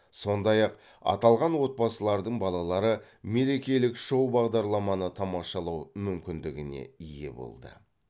сондай ақ аталған отбасылардың балалары мерекелік шоу бағдарламаны тамашалау мүмкіндігіне ие болды